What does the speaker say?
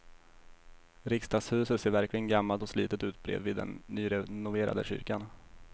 Riksdagshuset ser verkligen gammalt och slitet ut bredvid den nyrenoverade kyrkan.